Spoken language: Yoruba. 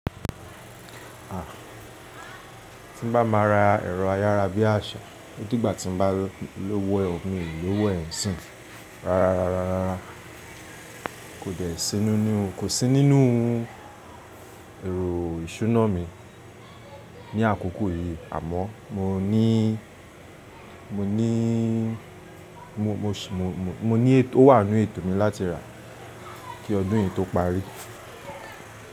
Ah, ti n bá ma ra ẹ̀rọ ayára bi àṣá, o di gba ti n bá lówó e o, mi o lówó e n sin. Rárárararara, ko de si nínú, kò sí nínú ẹ̀ro ìṣúná mi ní àkókò yìí, àmọ́ mo nii mo ní ètò, ó wà n nú ètò mi láti rà á, kí ọdún yìí tó parí.